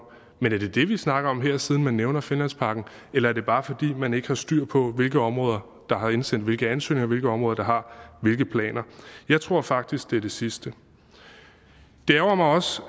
men er det det vi snakker om her siden man nævner finlandsparken eller er det bare fordi man ikke har styr på hvilke områder der har indsendt hvilke ansøgninger og hvilke områder der har hvilke planer jeg tror faktisk det er det sidste det ærgrer mig også